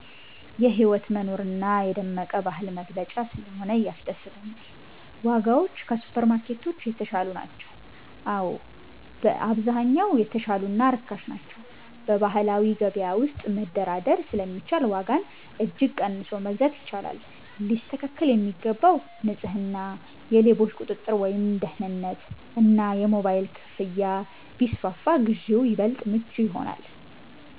የህይወት መኖር እና የደመቀ ባህል መገለጫ ስለሆነ ያስደስተኛል። ዋጋዎች ከሱፐርማርኬቶች የተሻሉ ናቸው? አዎ፣ በአብዛኛው የተሻሉ እና ርካሽ ናቸው። በባህላዊ ገበያ ውስጥ መደራደር ስለሚቻል ዋጋን እጅግ ቀንሶ መግዛት ይቻላል። ሊስተካከል የሚገባው፦ ንጽህና፣ የሌቦች ቁጥጥር (ደህንነት) እና የሞባይል ክፍያ ቢስፋፋ ግዢው ይበልጥ ምቹ ይሆናል።